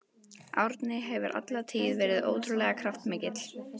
Árni hefur alla tíð verið ótrúlega kraftmikill.